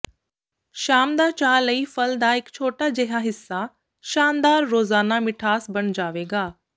ਸ਼ਾਮ ਦਾ ਚਾਹ ਲਈ ਫ਼ਲ ਦਾ ਇੱਕ ਛੋਟਾ ਜਿਹਾ ਹਿੱਸਾ ਸ਼ਾਨਦਾਰ ਰੋਜ਼ਾਨਾ ਮਿਠਾਸ ਬਣ ਜਾਵੇਗਾ